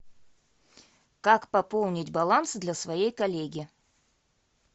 как пополнить баланс для своей коллеги